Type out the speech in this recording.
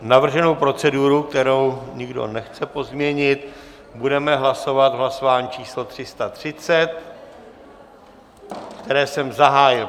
Navrženou proceduru, kterou nikdo nechce pozměnit, budeme hlasovat v hlasování číslo 330, které jsem zahájil.